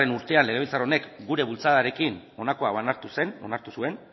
urtean legebiltzar honek gure bultzadarekin honako hau onartu zuen